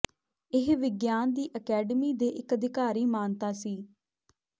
ਇਹ ਵਿਗਿਆਨ ਦੀ ਅਕੈਡਮੀ ਦੇ ਇਕ ਅਧਿਕਾਰੀ ਮਾਨਤਾ ਸੀ